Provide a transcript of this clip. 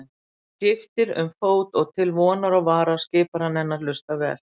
Hann skiptir um fót og til vonar og vara skipar hann henni að hlusta vel.